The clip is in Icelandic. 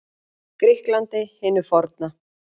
Grikklandi hinu forna.